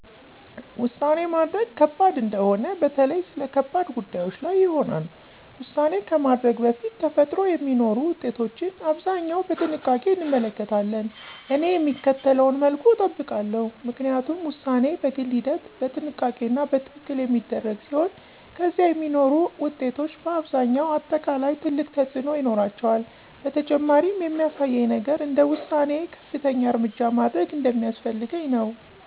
ውሳኔ ማድረግ ከባድ እንደሆነ በተለይ ስለ ከባድ ጉዳዮች ላይ ይሆናል። ውሳኔ ከማድረግ በፊት ተፈጥሮ የሚኖሩ ውጤቶችን አብዛኛው በጥንቃቄ እንመለከታለን። እኔ የሚከተለውን መልኩ እጠብቃለሁ፣ ምክንያቱም ውሳኔ በግል ሂደት፣ በጥንቃቄ እና በትክክል የሚደረግ ሲሆን ከዚያ የሚኖሩ ውጤቶች በአብዛኛው አጠቃላይ ትልቅ ተፅእኖ ይኖራቸዋል። በተጨማሪም የሚያሳየኝ ነገር እንደ ውሳኔዬ ከፍተኛ እርምጃ ማድረግ እንደሚያስፈልገኝ ነው።